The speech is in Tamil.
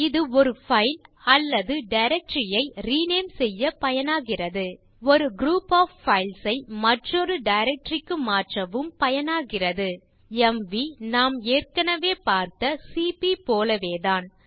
இது ஒரு பைல் அல்லது டைரக்டரி ஐ ரினேம் செய்ய பயனாகிறது ஒரு குரூப் ஒஃப் பைல்ஸ் ஐ மற்றொரு டைரக்டரி க்கு மாற்றவும் பயனாகிறது எம்வி நாம் ஏற்கனவே பார்த்த சிபி போலவேதான்